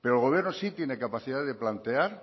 pero el gobierno sí tiene capacidad de plantear